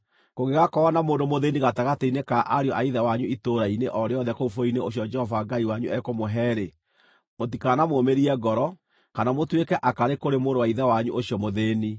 Kũngĩgaakorwo na mũndũ mũthĩĩni gatagatĩ-inĩ ka ariũ a ithe wanyu itũũra-inĩ o rĩothe kũu bũrũri-inĩ ũcio Jehova Ngai wanyu ekũmũhe-rĩ, mũtikanamũmĩrie ngoro, kana mũtuĩke akarĩ kũrĩ mũrũ wa ithe wanyu ũcio mũthĩĩni.